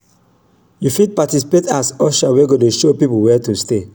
yu fit participate as usher wey go dey show pipo wia to stay